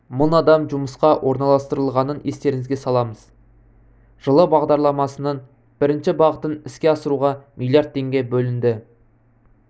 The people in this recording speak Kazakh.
мың адам жұмысқа орналастырылғанын естеріңізге саламыз жылы бағдарламасының бірінші бағытын іске асыруға миллиард теңге бөлінді